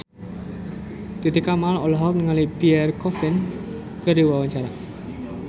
Titi Kamal olohok ningali Pierre Coffin keur diwawancara